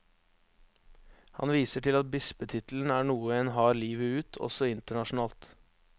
Han viser til at bispetittelen er noe en har livet ut, også internasjonalt.